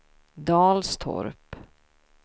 Dalstorp